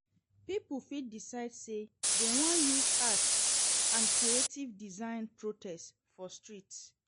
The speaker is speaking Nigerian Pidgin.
Pipo fit decide say dem won use arts and creative designs protest for streets